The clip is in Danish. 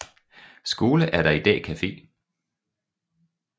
Skole er der i dag cafe